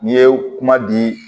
N'i ye kuma di